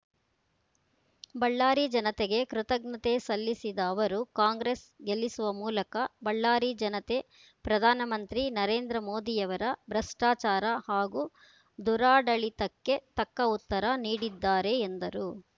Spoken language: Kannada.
ಬಳ್ಳಾರಿ ಜನತೆಗೆ ಕೃತಜ್ಞತೆ ಸಲ್ಲಿಸಿದ ಅವರು ಕಾಂಗ್ರೆಸ್‌ ಗೆಲ್ಲಿಸುವ ಮೂಲಕ ಬಳ್ಳಾರಿ ಜನತೆ ಪ್ರಧಾನಮಂತ್ರಿ ನರೇಂದ್ರ ಮೋದಿಯವರ ಭ್ರಷ್ಟಾಚಾರ ಹಾಗೂ ದುರಾಡಳಿತಕ್ಕೆ ತಕ್ಕ ಉತ್ತರ ನೀಡಿದ್ದಾರೆ ಎಂದರು